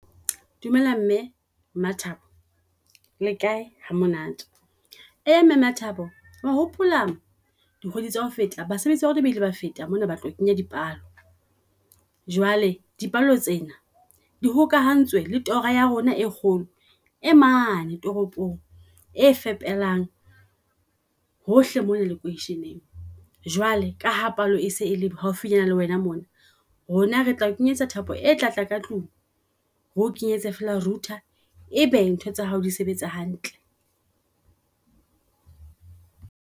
Dumela mme MaThabo le kae ha monate. Eya mme MaThabo wa hopola dikgwedi tsa ho feta basebetsi barona ba ile ba feta mona. Batla ho kenya dipalo, jwale di palo tsena di hokahantswe le tora ya rona e kgolo e mane toropong. E fepelang hohle mona lekwesheng, jwale ka ha palo e se e le haufinyana le wena mona, rona re tla o kenyetsa thapo etlatla ka tlung, ho kenyetse feela router ebe ntho tsa hao di sebetsa hantle.